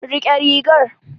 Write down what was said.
Rike rigar.